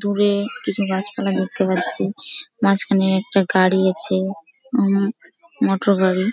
দূরে কিছু গাছপালা দেখতে পাচ্ছি মাঝখানে একটা গাড়ি আছে মোটর গাড়ি